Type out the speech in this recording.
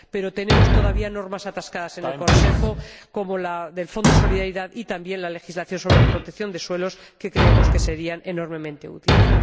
Pero tenemos todavía normas atascadas en el Consejo, como la del Fondo de Solidaridad y también la legislación sobre protección de suelos, que creemos que serían enormemente útiles.